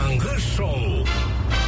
таңғы шоу